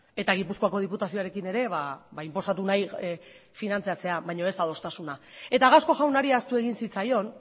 eta gipuzkoako diputazioarekin ere inposatu nahi finantziatzea baina ez adostasuna eta gasco jaunari ahaztu egin zitzaion